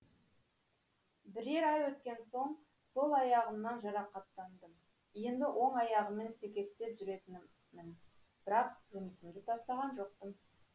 бірер ай өткен соң сол аяғымнан жарақаттандым енді оң аяғыммен секектеп жүретінмін бірақ жұмысымды тастаған жоқпын